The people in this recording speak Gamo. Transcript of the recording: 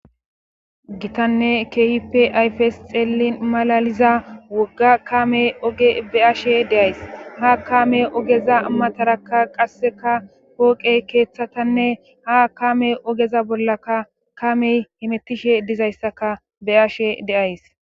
gitanne keehippe ayfes xeellin malaliza wogga kamey oge be ashe deays ha kamey ogeza mataraka qasseka pooqey keeththatanne ha kamey ogeza bollaka kamey himettishe dizayssaka be ashe deays